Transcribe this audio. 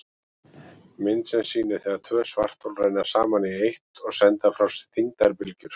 Mynd sem sýnir þegar tvö svarthol renna saman í eitt og senda frá sér þyngdarbylgjur.